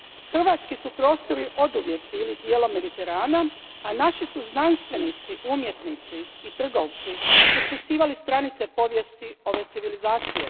Hrvatski su prostori oduvijek bili dijelom Mediterana, a naši su znanstvenici, umjetnici i trgovci ispisivali stranice povijesti ove civilizacije.